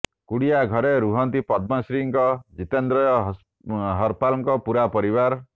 କୁଡିଆ ଘରେ ରୁହନ୍ତି ପଦ୍ମଶ୍ରୀଙ୍କ ଜିତେନ୍ଦ୍ରୟ ହରପାଲଙ୍କ ପୁରା ପରିବାର